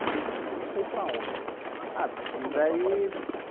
Você começou a ir para onde? Ah saí você começou a